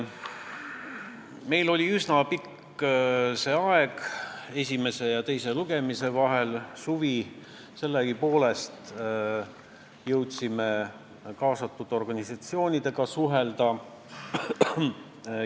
Meil oli esimese ja teise lugemise vahel üsna pikk aeg, terve suvi, ja nii jõudsime asjasse puutuvate organisatsioonidega suhelda.